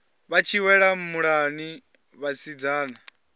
vha tshi wela muḽani vhasidzana